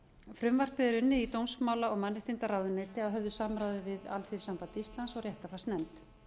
frumvarpið er unnið í dómsmála og mannréttindaráðuneyti að höfðu samráði við alþýðusamband og réttarfarsnefnd